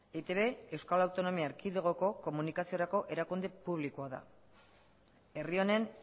eitb euskal autonomia erkidegoko komunikaziorako erakunde publikoa da herri honen